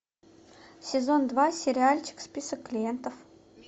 сезон два сериальчик список клиентов